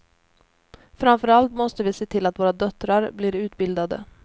Framförallt måste vi se till att våra döttrar blir utbildade.